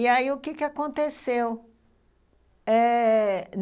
E aí, o que aconteceu? eh...